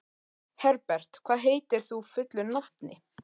Herbert, hvað heitir þú fullu nafni?